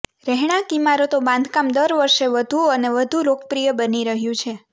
રહેણાંક ઇમારતો બાંધકામ દર વર્ષે વધુ અને વધુ લોકપ્રિય બની રહ્યું છે